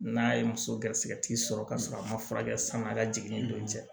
N'a ye muso garisigɛ tigi sɔrɔ ka sɔrɔ a ma furakɛ sanuya ka jigin don cɛ